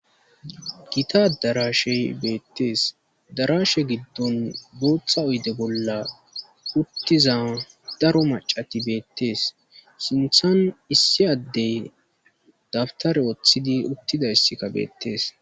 gita daraashe beettees darashe giddon gooththa uyde bolla uttiza daro macati beettees sinthan issi addey dabtare woththidi uttida issikka beettees